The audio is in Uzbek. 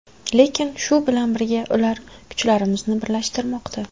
Lekin shu bilan birga ular kuchlarimizni birlashtirmoqda.